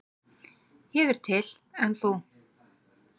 Ég er til, en þú?